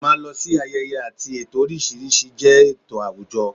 Ì máa lọ sí ayẹyẹ àti ètò oríṣiríṣi jẹ́ tò àwùjọ